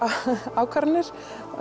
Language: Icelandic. ákvarðanir